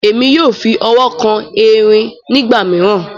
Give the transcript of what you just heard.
Èmi yóò fí ọwọ kàn èrin nigbamiran.